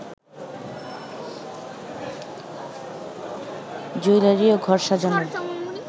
jewellery ও ঘর সাজানোর